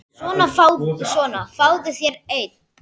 Svona, fáðu þér einn.